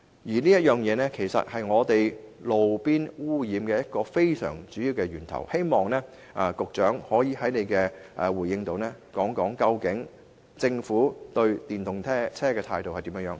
汽車排放其實是路邊空氣污染的主要源頭，我希望局長稍後可以回應政府對電動車的取態為何。